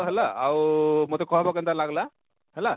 ଦେଖ ହେଲା ଆଉ ମତେ କହେବ କେନତା ଲାଗଲା?